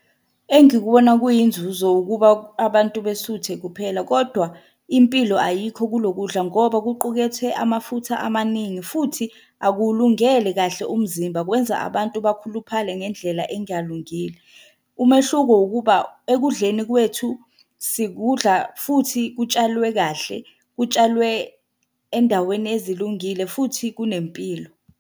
Engikubona kuyinzuzo ukuba abantu besuthe kuphela kodwa impilo ayikho kulo kudla, ngoba kuqukethe amafutha amaningi, futhi akuwulungele kahle umzimba kwenza abantu bakhuluphale ngendlela engalungile. Umehluko ukuba ekudleni kwethu sikudla futhi kutshalwe kahle, kutshalwe endaweni ezilungile futhi kunempilo.